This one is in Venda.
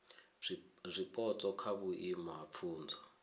zwipotso kha vhuimo ha pfunzo